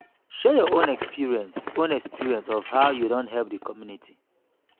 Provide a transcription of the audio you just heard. share your own experience own experience of how you don help di community